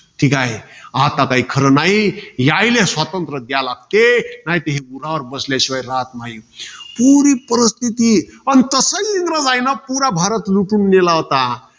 ठीकाय. आता काही खरं न्हाई. याइले स्वातंत्र्य द्यायला लागते. नाहीतर हे उरावर बसल्याशिवाय राहत नाही. पुरी परिस्थितीये. अन तसंही इंग्रजांनी पुरा भारत लुटून नेला होता.